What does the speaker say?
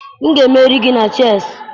M ga-emeri gị na chessị